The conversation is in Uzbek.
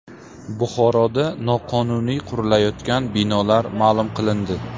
Buxoroda noqonuniy qurilayotgan binolar ma’lum qilindi.